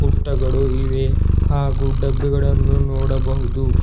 ಪುಟ್ಟಗಡೂ ಇವೆ ಹಾಗೂ ಡಬ್ಬಿಗಳನ್ನು ನೋಡಬಹುದು.